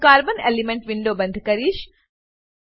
હું carbon elemental window બંધ કરીશ